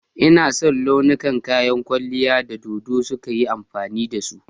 Ina son launukan kayan kwalliyar da dodo suka yi amfani da su.